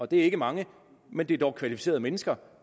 det er ikke mange men det er dog kvalificerede mennesker